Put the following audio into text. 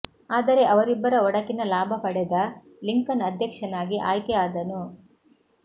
ಆದರೆ ಇವರಿಬ್ಬರ ಒಡಕಿನ ಲಾಭ ಪಡೆದ ಲಿಂಕನ್ ಅಧ್ಯಕ್ಷನಾಗಿ ಆಯ್ಕೆ ಆದನು